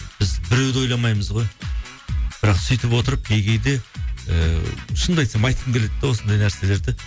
біз біреуді ойламаймыз ғой бірақ сөйтіп отырып кей кейде ыыы шынымды айтсам айтқым келеді де осындай нәрселерді